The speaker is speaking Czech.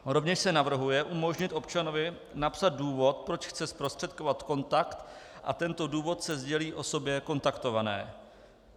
Rovněž se navrhuje umožnit občanovi napsat důvod, proč chce zprostředkovat kontakt, a tento důvod se sdělí osobě kontaktované.